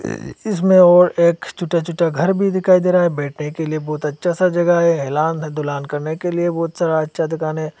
इसमें और एक छोटा छोटा घर भी दिखाई दे रहा है बैठने के लिए बहुत अच्छा सा जगह है आराम दूराम करने के लिए बहुत सारा अच्छा दुकान है।